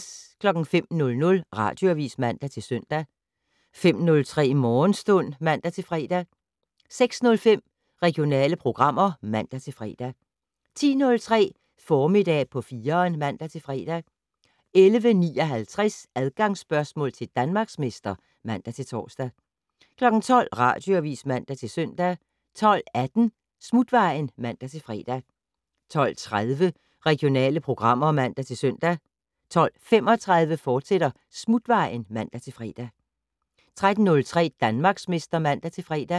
05:00: Radioavis (man-søn) 05:03: Morgenstund (man-fre) 06:05: Regionale programmer (man-fre) 10:03: Formiddag på 4'eren (man-fre) 11:59: Adgangsspørgsmål til Danmarksmester (man-tor) 12:00: Radioavis (man-søn) 12:18: Smutvejen (man-fre) 12:30: Regionale programmer (man-søn) 12:35: Smutvejen, fortsat (man-fre) 13:03: Danmarksmester (man-fre)